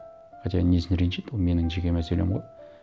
хотя несіне ренжиді ол менің жеке мәселем ғой